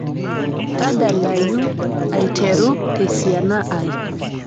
tadalayu aiteru tesiana ai